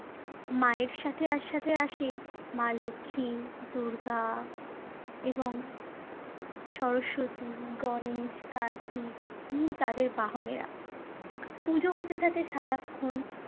মায়ের সাথে একসাথে আসে মা লক্ষ্মী, দূর্গা এবং সরস্বতী, গণেশ, কার্তিক এবং তাদের বাহনেরা। পুজো হতে থাকে সারাক্ষণ